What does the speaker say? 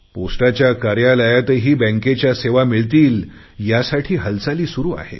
पोस्टाच्या कार्यालयातही बँकेच्या सेवा मिळतील यासाठी हालचाली सुरु आहेत